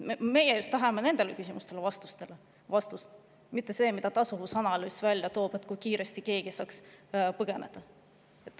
Meie tahamegi vastust just nendele küsimustele, mitte sellele küsimusele, mida tasuvusanalüüs välja toob, et kui kiiresti keegi saaks põgeneda.